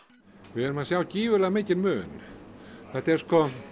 við sjáum gífurlega mikinn mun þetta er